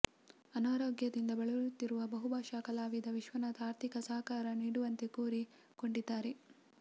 ಅನಾರೋಗ್ಯದಿಂದ ಬಳಲುತ್ತಿರುವ ಬಹುಭಾಷಾ ಕಲಾವಿದ ವಿಶ್ವನಾಥ್ ಆರ್ಥಿಕ ಸಹಕಾರ ನೀಡುವಂತೆ ಕೋರಿ ಕೊಂಡಿದ್ದಾರೆ